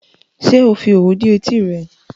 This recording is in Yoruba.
Ṣé ò fi òwú dí etí rẹ?